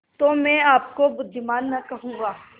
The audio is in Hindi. तो मैं आपको बुद्विमान न कहूँगा